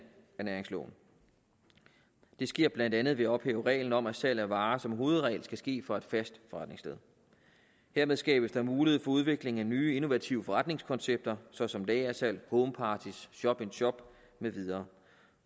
af næringsloven det sker blandt andet ved at ophæve reglen om at salg af varer som hovedregel skal ske fra et fast forretningssted hermed skabes der mulighed for udvikling af nye innovative forretningskoncepter såsom lagersalg homeparties shop in shop med videre